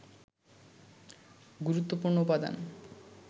গুরুত্বপূর্ণ উপাদান